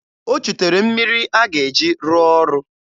O chutere mmiri a ga-eji rụọ ọrụ.